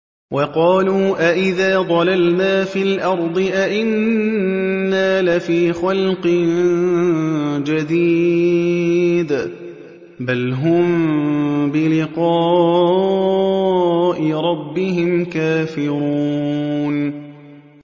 وَقَالُوا أَإِذَا ضَلَلْنَا فِي الْأَرْضِ أَإِنَّا لَفِي خَلْقٍ جَدِيدٍ ۚ بَلْ هُم بِلِقَاءِ رَبِّهِمْ كَافِرُونَ